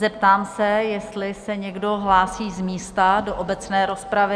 Zeptám se, jestli se někdo hlásí z místa do obecné rozpravy?